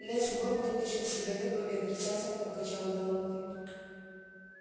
лес горм вытащил сигарету и отрицательно покачал головой